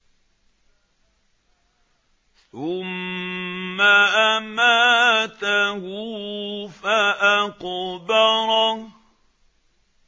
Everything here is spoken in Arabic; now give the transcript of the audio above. ثُمَّ أَمَاتَهُ فَأَقْبَرَهُ